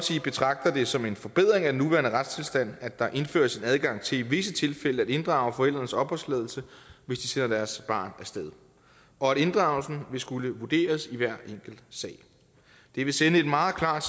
betragter det som en forbedring af den nuværende retstilstand at der indføres en adgang til i visse tilfælde at inddrage forældrenes opholdstilladelse hvis de sender deres barn af sted og at inddragelsen vil skulle vurderes i hver enkelt sag det vil sende et meget klart